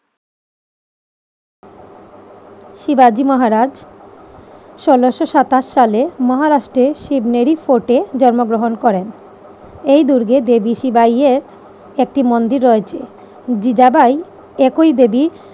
শিবাজী মহারাজ ষোলোশো সাতাশ সালে মহারাষ্ট্রের শিব মেরি ফোর্টে জন্মগ্রহণ করেন। এই দুর্গে দেবী শিবায় এর একটি মন্দির রয়েছে। জিজাবাই একই দেবী